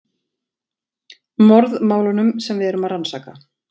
Morðmálunum sem við erum að rannsaka.